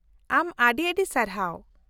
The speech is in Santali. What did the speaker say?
ᱟᱢ ᱟᱹᱰᱤ ᱟᱹᱰᱤ ᱥᱟᱨᱦᱟᱣ !